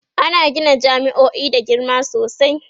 ana Gina jami'o'i da girma sosai